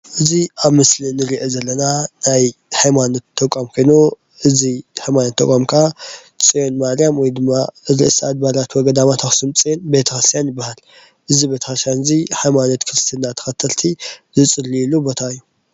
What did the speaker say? እዚ ኣብ ምስሊ ንርኦ ዘለና ናይ ሃይማኖት ተቋም ኮይኑ እዚ ሃይማኖት ተቋም ካኣ ፅዮን ማርያም ወይ ድማ ርእሰኣድባራት ወገዳማት ኣክሱም ፅዮን ቤተ-ክርስትያን ይባሃል ። እዚ ቤተ-ክርስትያን እዚ ሃይማኖት ክርስትና ተከተልቲ ዝፅልይሉ ቦታ እዩ።